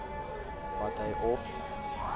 wat hy of